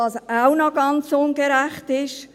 Was auch ganz ungerecht ist: